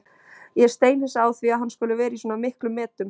Ég er steinhissa á því að hann skuli vera í svona miklum metum.